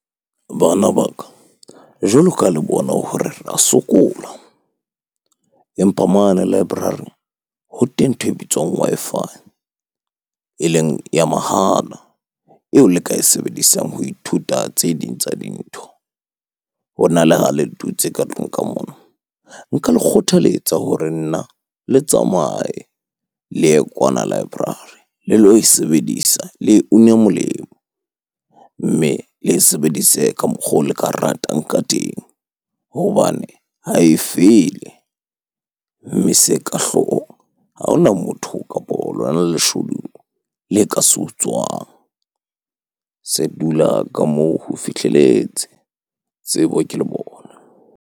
Bana ba ka, jwalo ka le bona hore ra sokola empa mane library ho teng ntho e bitswang Wi-Fi, eleng ya mahala eo le ka e sebedisang ho ithuta tse ding tsa dintho. Hona le ha le dutse ka tlung ka mona. Nka le kgothaletsa hore nna, le tsamaye le ye kwana library le lo e sebedisa, le une molemo. Mme le e sebedise ka mokgo le ka ratang ka teng hobane ha e fele. Mme se ka hloohong, ha hona motho kapo lona leshodu le ka se utswang. Se dula ka moo ho fihleletse, tsebo ke lebone.